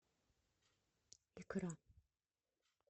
икра